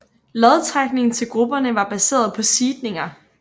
Lodtrækningen til grupperne var baseret på seedninger